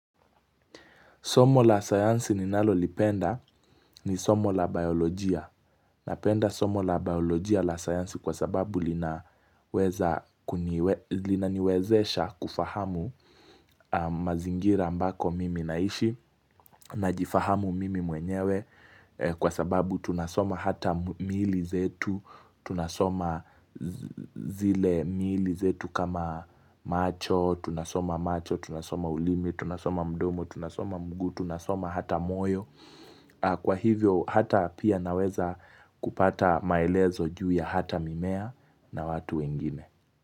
Somo la sayansi ninalolipenda ni somo la biolojia. Napenda somo la biolojia la sayansi kwa sababu linaniwezesha kufahamu mazingira ambako mimi naishi. Najifahamu mimi mwenyewe kwa sababu tunasoma hata miili zetu, tunasoma zile miili zetu kama macho, tunasoma macho, tunasoma ulimi, tunasoma mdomo, tunasoma mguu, tunasoma hata moyo Kwa hivyo hata pia naweza kupata maelezo juu ya hata mimea na watu wengine.